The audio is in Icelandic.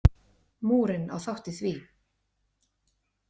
Múrinn á þátt í því.